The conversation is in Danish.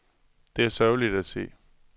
Det er sørgeligt at se.